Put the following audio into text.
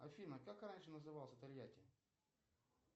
афина как раньше назывался тольятти